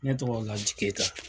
Ne tɔgɔ LAJI KEYITA.